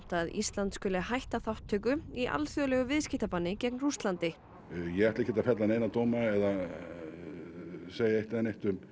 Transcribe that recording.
að Ísland hætti þátttöku í viðskiptabanni gegn Rússlandi ég ætla ekkert að fella neina dóma eða segja eitt eða neitt um